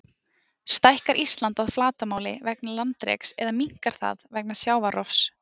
Stækkar Ísland að flatarmáli vegna landreks eða minnkar það vegna sjávarrofs?